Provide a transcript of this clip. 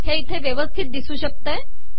हे इथे वयविसथत िदसू शकते आहे